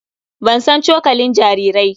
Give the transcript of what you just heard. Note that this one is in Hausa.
Ban san cokalin jarirai.